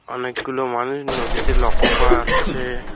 অনেকগুলো মানুষ নদীতে লক্ষ করা যাচ্ছে।